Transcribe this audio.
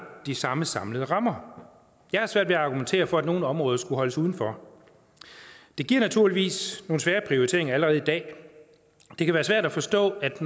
de samme samlede rammer jeg har svært ved at argumentere for at nogle områder skulle holdes udenfor det giver naturligvis nogle svære prioriteringer allerede i dag det kan være svært at forstå at